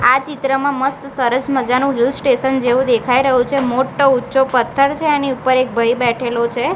આ ચિત્રમાં મસ્ત સરસ મજાનું હિલ સ્ટેશન જેવું દેખાય રહ્યું છે મોટો ઊંચો પથ્થર છે એની ઉપર એક ભાઈ બેઠેલો છે.